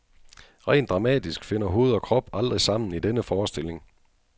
Rent dramatisk finder hoved og krop aldrig sammen i denne forestilling.